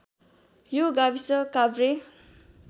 यो गाविस काभ्रे